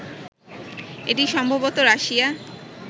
এটি সম্ভবত রাশিয়া